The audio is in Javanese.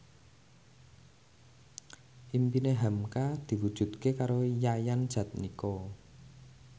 impine hamka diwujudke karo Yayan Jatnika